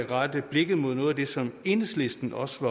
rette blikket mod noget af det som enhedslisten også